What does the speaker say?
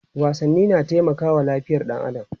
wasanni na taimakawa lafiyar ɗan adam